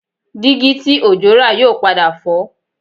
Dígí tí Òjó rà yóò padà fọ́